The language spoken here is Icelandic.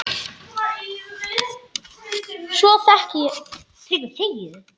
Svo vel þekki ég þig.